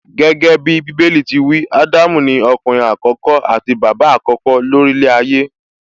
Gẹ́gẹ́bí Bíbélì ti wí, Ádámù ni ọkùnrin àkọ́kọ́ àti bàbá àkọ́kọ́ ló rí ilẹ̀ ayé